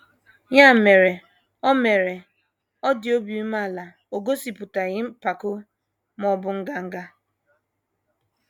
Ya mere, ọ mere, ọ dị obi umeala, o gosipụtaghị mpako, ma ọ bụ nganga.